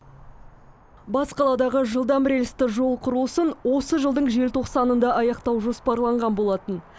бас қаладағы жылдам рельсті жол құрылысын осы жылдың желтоқсанында аяқтау жоспарланған болатын